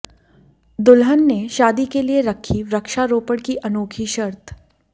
दुल्हन ने शादी के लिए रखी वृक्षारोपण की अनोखी शर्त